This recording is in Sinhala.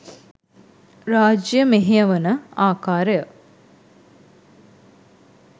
රාජ්‍ය මෙහෙයවන ආකාරය